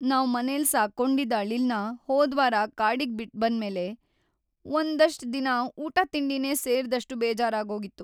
ನಾವ್‌ ಮನೆಲ್ ಸಾಕ್ಕೊಂಡಿದ್ದ್ ಅಳಿಲ್‌ನ ಹೋದ್ವಾರ ಕಾಡಿಗ್ ಬಿಟ್ಬಂದ್ಮೇಲೆ ಒಂದಷ್ಟ್‌ ದಿನ ಊಟ ತಿಂಡಿನೇ ಸೇರ್ದಷ್ಟು ಬೇಜಾರಾಗೋಗಿತ್ತು.